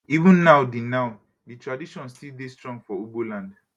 even now di now di tradition still dey strong for ugbo land